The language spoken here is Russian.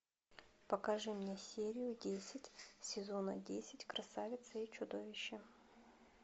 покажи мне серию десять сезона десять красавица и чудовище